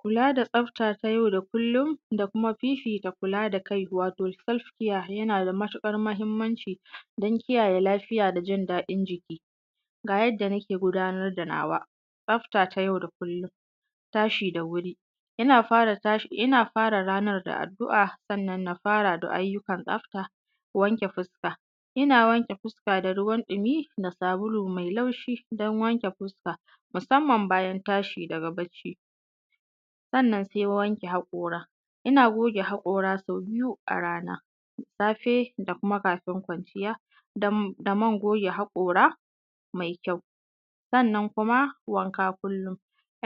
Kulaa da tsafta ta yau da kullum da kuma fifita kula da kai waato selfcare yanaa da matuƙar mahimmanci don kiyaye lafiya da jin daɗin jiki. Ga yadda nake gudanar da nawa tsafta ta yau da kullum tashi da wuri ina fara tashi, ina fara ranar da addu'a kan nan na fara da ayyukan tsafta; wanke fuska ina wanke fuska da ruwan ɗumi da sabulu mai laushi don wanke fuska musamman bayan tashi daga bacci. Sannan sai wanke haƙoora; ina goge haƙoora sau biyu a rana, safee da kuma kafin kwanciya da man goge haƙoora mai kyau. Sannan kuma wankaa kullum;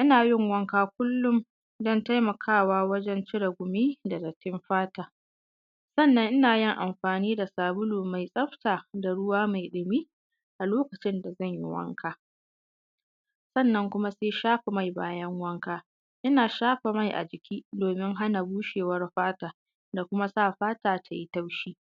ina yin wanka kullum don taimakawa wajen cire gumi da dattin fata, sannan ina yin amfaani da sabulu mai tsafta da ruwa mai ɗumi a lokacin da zan yi wanka. Sannan kuma sai shafa mai bayan wanka; ina shafa mai a jiki doomin hana bushewar fata da kuma sa fata ta yi taushi.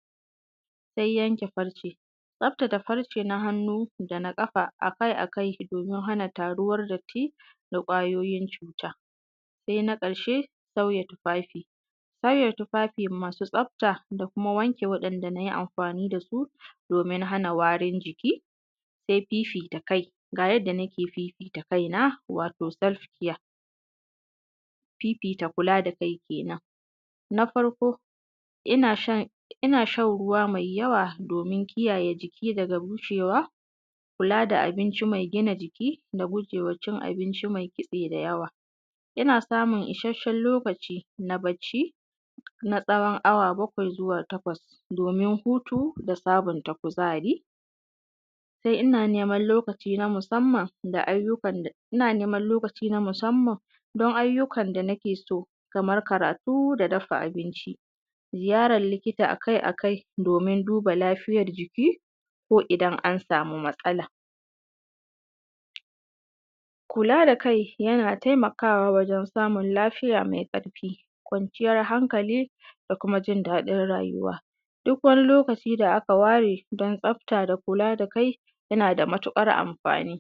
Sai yanke farce; tsaftace farce na hannu da na ƙafa akai-akai doomin hana taruwar datti, ƙwayooyin cuuta. Sai na ƙarshee sauya tufafi sauya tufafi masu tsafta da kuma wanke waɗanda na yi amfaani da su domin hana warin jiki. Sai fiifita kai; ga yadda nake fiifita kaina, wato selfcare fita kulaa da kai keenan. Na farko ina shan ruwa mai yawa doomin kiyaye jiki daga busheewa kulaa da abinci mai gina jiki da gujee wa abinci mai kitse da yawa, ina samun ishasshen lokaci na bacci na tsawon awa bakwai zuwa takwas doomin hutu da sabunta kuzaari. Sai ina neman lokaci na musamman don ayyukan da nake so, kamar karaatu da dafa abinci, ziyaran likita akai- akai doomin duba lafiyar jiki ko idan an samu matsala kulaa da kai yana taimakawa wajen samun lafiya mai ƙarfi kwanciyar hankali da kuma jin daɗin rayuwa duk wani lokaci da aka ware don tsafta da kulaa da kai yana da matuƙar amfani